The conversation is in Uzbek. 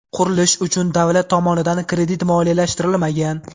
Qurilish uchun davlat tomonidan kredit moliyalashtirilmagan.